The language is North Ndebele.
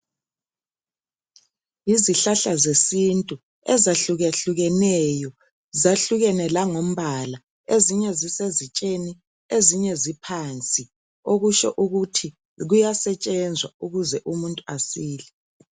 Yizihlahla zesintu ,ezahluke hlukeneyo .Zahlukene langombala ,ezinye zisezitsheni ,ezinye ziphansi .Okutsho ukuthi kuyasetshenzwa ukuze umuntu asile .